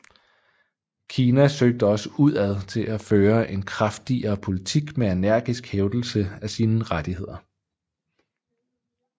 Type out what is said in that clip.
Kina søgte også udad til at føre en kraftigere politik med energisk hævdelse af sine rettigheder